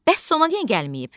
Bəs Sona niyə gəlməyib?